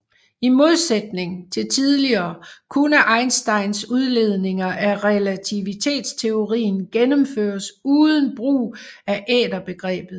I modsætning til tidligere kunne Einsteins udledninger af relativitetsteorien gennemføres uden brug af æterbegrebet